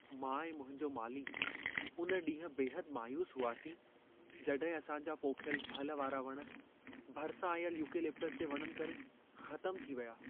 मां ऐं मुंहिंजो माली उन ॾींहुं बेहदि मायूस हुआसीं, जॾहिं असां जा पोखियल फल वारा वण, भरिसां आयल युकलिप्टुस जे वणनि करे ख़तमु थी विया।